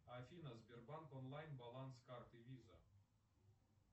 афина сбербанк онлайн баланс карты виза